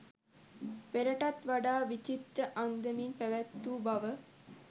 පෙරටත් වඩා විචිත්‍ර අන්දමින් පැවැත්වූ බව